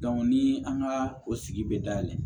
ni an ka o sigi bɛ dayɛlɛ